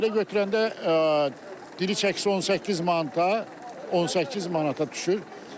Belə götürəndə diri çəkisi 18 manat qalır, 18 manata düşür.